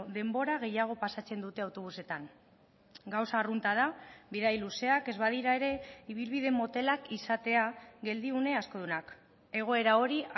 denbora gehiago pasatzen dute autobusetan gauza arrunta da bidai luzeak ez badira ere ibilbide motelak izatea geldiune askodunak egoera hori